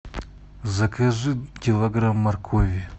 закажи килограмм моркови